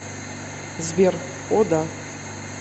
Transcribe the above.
сбер о да